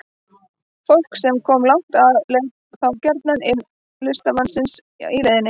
Fólk sem kom langt að leit þá gjarnan inn til listamannsins í leiðinni.